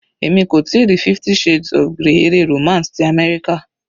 Èmi kò tíì rí 50 shades of grey eré romance ti àmẹ́ríkà.